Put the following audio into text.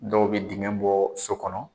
Dɔw bɛ dingɛ bɔ so kɔnɔ.